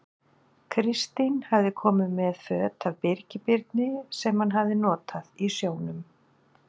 Kristín hafði komið með föt af Birgi Birni, sem hann hafði notað á sjónum.